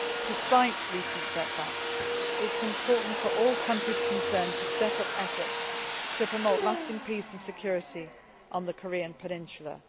Despite recent setbacks, it is important for all countries concerned to step up efforts to promote lasting peace and security on the Korean Peninsula.